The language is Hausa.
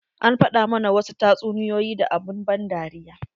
An faɗa mana wasu tatsuniyoyi da abun ban dariya.